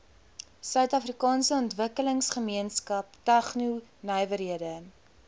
suidafrikaanse ontwikkelingsgemeenskap tegnonywerhede